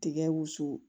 Tigɛ wusu